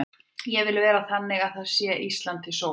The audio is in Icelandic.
Ég vil vera þannig búin að það sé Íslandi til sóma.